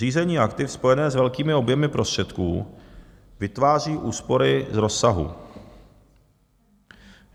Řízení aktiv spojené s velkými objemy prostředků vytváří úspory z rozsahu.